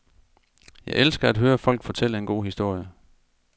Jeg elsker at høre folk fortælle en god historie.